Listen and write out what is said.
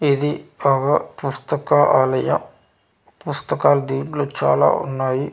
ఇది ఒగ పుస్తక ఆలయ పుస్తకాలు దీంట్లో చాలా ఉన్నాయి.